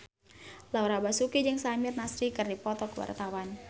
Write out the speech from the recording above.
Laura Basuki jeung Samir Nasri keur dipoto ku wartawan